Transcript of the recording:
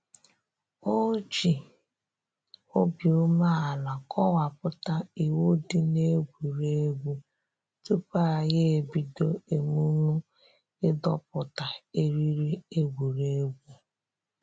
O ji obi ume ala kọwapụta iwu dị n'egwuregwu tupu anyị ebido emumu ịdọpụta eriri egwuregwu